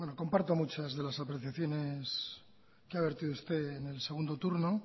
comparto muchas de las apreciaciones que ha vertido usted en el segundo turno